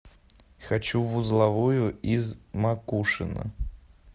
хочу в узловую из макушино